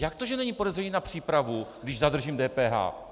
Jak to, že není podezření na přípravu, když zadržím DPH?